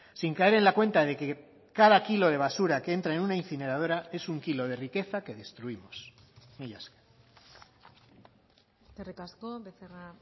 sin caer en la cuenta de que cada kilo de basura que entra en una incineradora es un kilo de riqueza que destruimos mila esker eskerrik asko becerra